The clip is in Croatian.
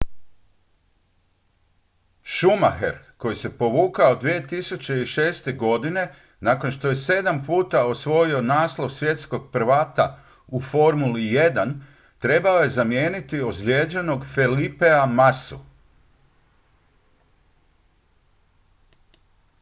schumacher koji se povukao 2006. godine nakon što je sedam puta osvojio naslov svjetskog prvaka u formuli 1 trebao je zamijeniti ozlijeđenog felipea massu